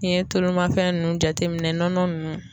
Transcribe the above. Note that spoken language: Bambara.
N'i ye tulu mafɛn nunnu jateminɛ nɔnɔ nunnu.